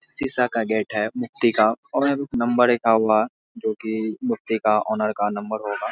शीशा का गेट है मुफ़्ती का और यहाँ पर एक नंबर लिखा हुआ है जोकि मुफ़्ती का ऑनर का नंबर होगा ।